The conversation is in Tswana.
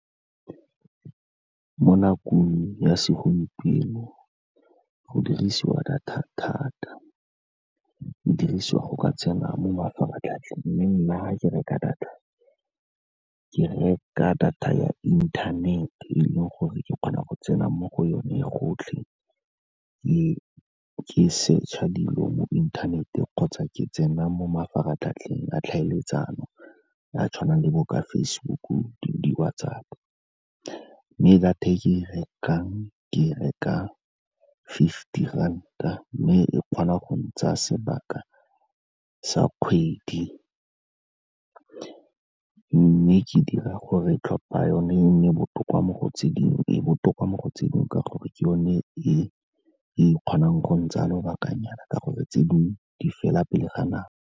Mo nakong ya segompieno go dirisiwa data thata, di dirisiwa go ka tsena mo mafaratlhatlheng, mme nna ga ke reka data ke reka data ya inthanete e leng gore ke kgona go tsena mo go yone gotlhe, ke search-a dilo mo inthanete kgotsa ke tsena mo mafaratlhatlheng a tlhaeletsano, a tshwanang le bo ka Facebook-u, di-WhatsApp. Mme data e ke e rekang ke reka fifty ranta, mme e kgona go ntsaya sebaka sa kgwedi, mme ke dira gore tlhopha yone e nne botoka mo go tse dingwe, e botoka mo go tse dingwe ka gore ke yone e e kgonang go ntsha lobakanyana, ka gore tse dingwe di fela pele ga nako.